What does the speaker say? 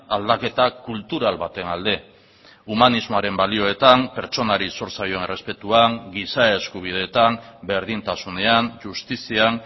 aldaketa kultural baten alde humanismoaren balioetan pertsonari zor zaion errespetuan giza eskubideetan berdintasunean justizian